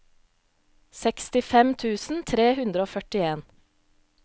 sekstifem tusen tre hundre og førtien